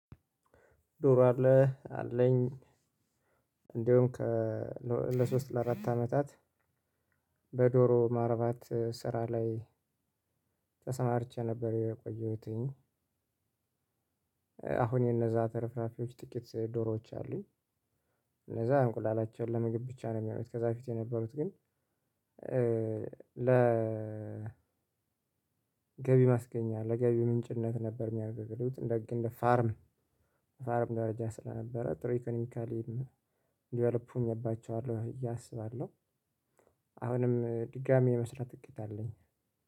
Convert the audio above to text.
ዶሮ አለህ አለኝ። እንደውም ከ ለሶስት ለአራት አመታት በዶሮ ማርባት ስራ ላይ ተሰማርቼ ነበር የቆየሁትኝ። አሁን የነዛ ተርፍራፊዎች ጥቂት ዶሮዎች አሉኝ። እነዛ እንቁላላቸውን ለምግብ ብቻ ነው የሚሆነው። ከዛ በፊት የነበሩት ግን። ለገቢ ማስገኛ ለገቢ ምንጭነት ነበር የሚያገለግሉት። ልክ እንደ ፋርም ፋርም ደረጃ ስለነበረ ጥሩ ኢኮኖሚካሊም ዲቨሎፕ ሆኜባቸዋለሁ ብዬ እያሰባለሁ። አሁንም ድጋሚ የመስራት እቅድ አለኝ።